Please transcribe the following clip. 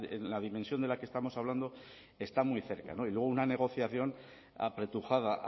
la dimensión de la que estamos hablando está muy cerca y luego una negociación apretujada